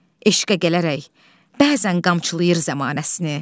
Eşqə gələrək bəzən qamçılayır zəmanəsini.